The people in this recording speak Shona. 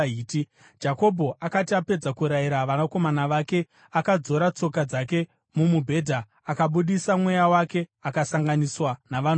Jakobho akati apedza kurayira vanakomana vake, akadzora tsoka dzake mumubhedha, akabudisa mweya wake akasanganiswa navanhu vokwake.